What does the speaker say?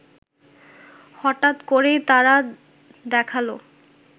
হঠাৎ করেই তারা দেখালো